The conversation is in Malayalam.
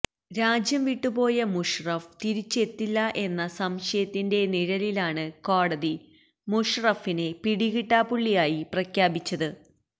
രാജ്യം വിട്ട് പോയ മുഷറഫ് തിരിച്ച് എത്തില്ല എന്ന സംശയത്തിന്റെ നിഴലിലാണ് കോടതി മുഷറഫിനെ പിടികിട്ടാപ്പുള്ളിയായി പ്രഖ്യാപിച്ചത്